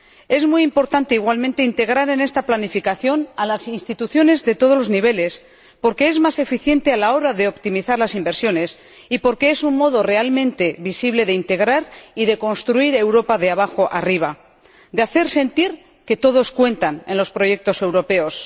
Es muy importante, igualmente, integrar en esta planificación a las instituciones de todos los niveles, porque es más eficiente a la hora de optimizar las inversiones y porque es un modo realmente visible de integrar y de construir Europa de abajo a arriba, de hacer sentir que todos cuentan en los proyectos europeos.